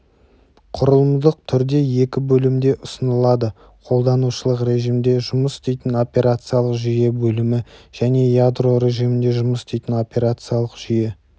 құрылымдық түрде екі бөлімде ұсынылады қолданушылық режимде жұмыс істейтін операциялық жүйе бөлімі және ядро режимінде жұмыс істейтін операциялық жүйе